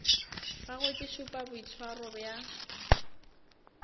gagwe ke šupa boitshwaro bja